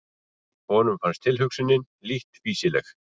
Honum fannst tilhugsunin lítt fýsileg.